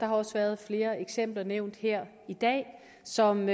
har også været flere eksempler nævnt her i dag som